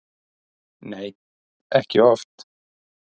Nei, ekki oft.